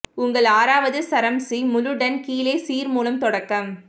உங்கள் ஆறாவது சரம் சி முழு டன் கீழே சீர் மூலம் தொடக்கம்